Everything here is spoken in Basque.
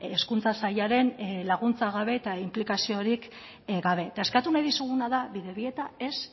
hezkuntza sailaren laguntza gabe eta inplikaziorik gabe eta eskatu nahi dizuguna da bidebieta ez